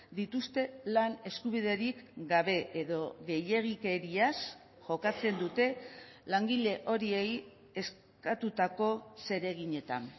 dituzte lan eskubiderik gabe edo gehiegikeriaz jokatzen dute langile horiei eskatutako zereginetan